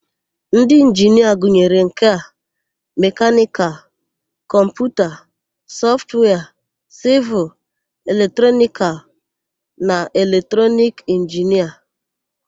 Ndị Inginia gụnyere nke: mekanikal, kọmputa, sọftwia, sịvịl, eletrikal na eletrọnic inginia.